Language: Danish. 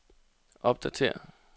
opdatér